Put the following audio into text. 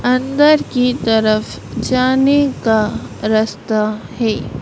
अंदर की तरफ जाने का रस्ता है।